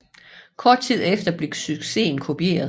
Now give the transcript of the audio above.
Kort tid efter blev succesen kopieret